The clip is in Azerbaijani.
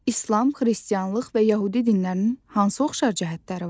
İslam, Xristianlıq və Yəhudi dinlərinin hansı oxşar cəhətləri var?